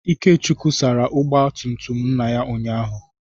Ikechukwu sara ọgba tum tum nna ya ụnyahụ.